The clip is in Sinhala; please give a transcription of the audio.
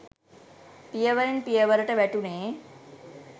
පියවරෙන් පියවරට වැටුණේ